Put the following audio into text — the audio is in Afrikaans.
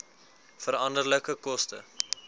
veranderlike koste